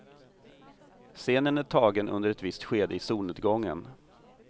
Scenen är tagen under ett visst skede i solnedgången.